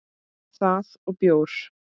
Það og bjór.